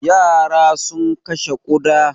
Yara sun kashe ƙuda.